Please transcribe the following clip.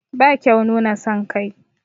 Ba kyau nuna son kai.